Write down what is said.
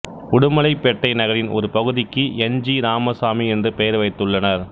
உடுமலைப் பேட்டை நகரின் ஒரு பகுதிக்கு என் ஜி ராமசாமி என்று பெயர் வைத்துள்ளனர்